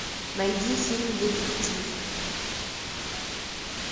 найди фильм детектив